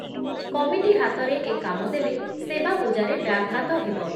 Committee ହାତରେ ଏ କାମ ଦେଲେ ସେବା ପୂଜାରେ ବ୍ୟାଘାତ ହେବ ।